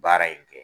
Baara in kɛ